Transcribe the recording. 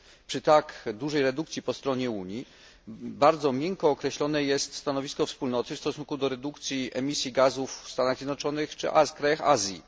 Przy tak dużej redukcji po stronie Unii bardzo miękko określone jest stanowisko Wspólnoty w stosunku do redukcji emisji gazów w Stanach Zjednoczonych czy krajach Azji.